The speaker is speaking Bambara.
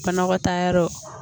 Fanakɔtaa yɔrɔ